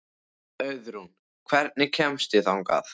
Auðrún, hvernig kemst ég þangað?